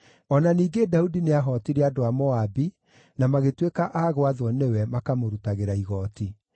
O na ningĩ Daudi nĩahootire andũ a Moabi, na magĩtuĩka a gwathwo nĩwe, makamũrutagĩra igooti.